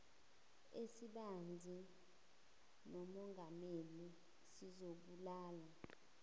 esibanzi nomongameli sizobalula